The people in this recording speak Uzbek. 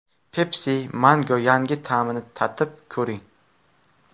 Pepsi Mango yangi ta’mini tatib ko‘ring!